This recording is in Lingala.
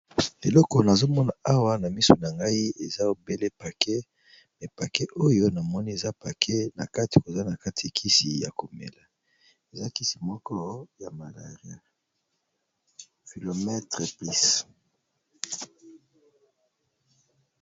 Eloko nazo mona awa na misu na ngai eza obele paquet, mais paquet oyo namoni eza paquet na kati koza na kati kisi ya komela eza kisi moko ya malaria philomether plus.